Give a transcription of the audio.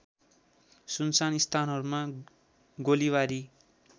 सुनसान स्थानहरूमा गोलीबारी